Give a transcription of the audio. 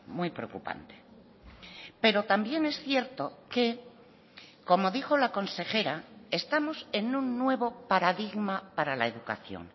muy preocupante pero también es cierto que como dijo la consejera estamos en un nuevo paradigma para la educación